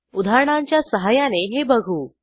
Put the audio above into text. उदाहरणांच्या सहाय्याने हे बघू